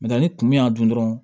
ni kun min y'a dun dɔrɔn